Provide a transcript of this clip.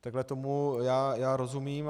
Takhle tomu já rozumím.